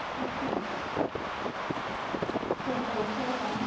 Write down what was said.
ਅੱਛਾ ਫਿਰ ਤਾਂ ਔਖਾ ਹੀ ਕੰਮ ਆਂ।